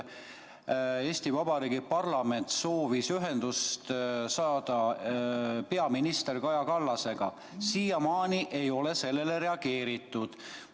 Eesti Vabariigi parlament soovis ühendust saada peaminister Kaja Kallasega, aga siiamaani ei ole sellele reageeritud.